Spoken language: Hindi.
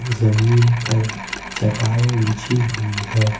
जमीन पर चटाई बिछी हुई है।